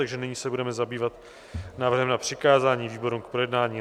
Takže nyní se budeme zabývat návrhem na přikázání výborům k projednání.